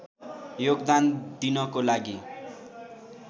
योगदान दिनको लागि